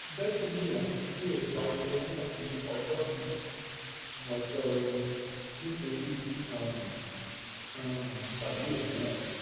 betty ní òún ti um sún ètò ayẹyẹ náà di ọjọ́ mi-in ọjọ́ọre nítorí ìdí kan um kan um tàbí omi-ín